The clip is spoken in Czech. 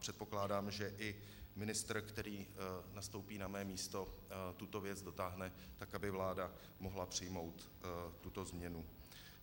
Předpokládám, že i ministr, který nastoupí na mé místo, tuto věc dotáhne tak, aby vláda mohla přijmout tuto změnu.